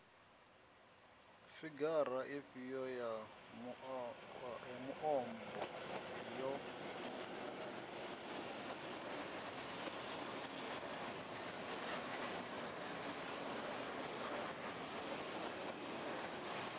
figara ifhio ya muambo yo